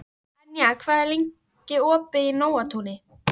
Enja, hvað er lengi opið í Nóatúni?